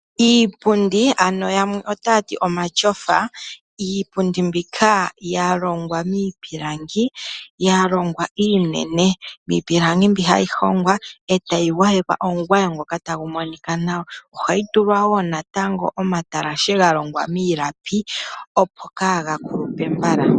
Iipundi yamwe otaya ti omatyofa, iipundi mbyoka ya longwa miipilangi ya longwa iinene miipilangi mbi hayi hongwa e tayi gwayekwa omugwayo ngoka tagu monika nawa. Ohayi tulwa wo natango omatalashe ga longwa miilapi, opo kaaga kulupe mbala.